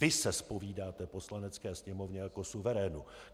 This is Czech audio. Vy se zpovídáte Poslanecké sněmovně jako suverénu!